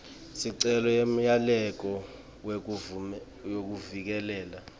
sicelo semyalelo wekuvikeleka